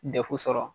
Defu sɔrɔ